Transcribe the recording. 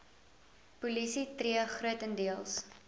polisie tree grotendeels